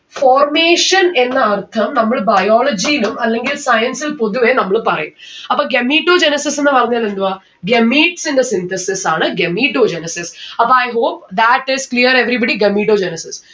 formation എന്ന അർഥം നമ്മൾ biology യിലും അല്ലെങ്കിൽ science ൽ പൊതുവെ നമ്മള് പറയും. അപ്പൊ gametogenesis ന്ന്‌ പറഞ്ഞാൽ എന്തുവാ gametes ന്റെ synthesis ആണ് gametogenesis അപ്പൊ i hope that is clear everybody. gametogenesis